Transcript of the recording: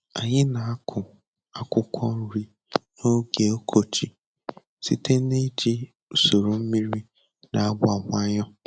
Anyị na-akụ akwụkwọ nri n'oge ọkọchị site na iji usoro mmiri na-agba nwayọ.